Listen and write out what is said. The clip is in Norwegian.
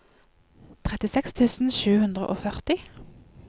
trettiseks tusen sju hundre og førti